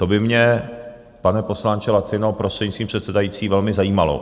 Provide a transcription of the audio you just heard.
To by mě, pane poslanče Lacino, prostřednictvím předsedající, velmi zajímalo.